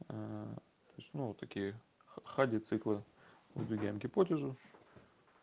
то есть ну такие хади циклы выдвигаем гипотезу